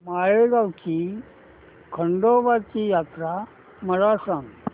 माळेगाव ची खंडोबाची यात्रा मला सांग